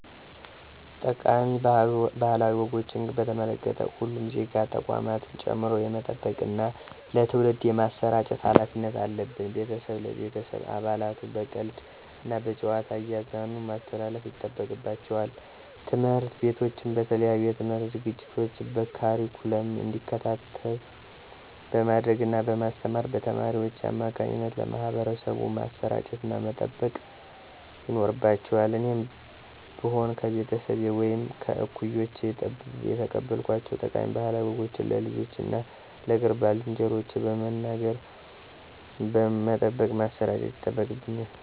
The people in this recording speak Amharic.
ጠቃሚ ባህላዊ ወጎችን በተመለከቱ ሁሉም ዜጋ ተቋማትን ጨምሮ የመጠበቅና ለትውልድ የማሰራጨት ሀላፊነት አለብን። ቤተሰብ ለቤተሰብ አባላቱ በቀልድ እና በጨዋታ እያዝናኑ ማስተላለፍ ይጠበቅባቸዋል። ትምህርት ቤቶችም በተለያዩ የትምህርት ዝግጅቶች በካሪኩለም እንዲካተት በማድረግ እና በማስተማር በተማሪዎች አማካኝነት ለማህበረሰቡ ማሰራጨትና መጠበቅ ይኖርባቸዋል እኔም ብሆን ከቤተሰቤ ወይም ከእኩዮቼ የተቀበልኳቸውን ጠቃሚ ባህላዊ ወጎችን ለልጆቼ እና ለቅርብ ባልንጀሮቼ በመንገር መጠበቅና ማሠራጨት ይጠበቅብኛል።